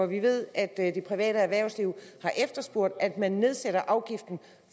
vi ved at det private erhvervsliv har efterspurgt at man generelt nedsætter afgiften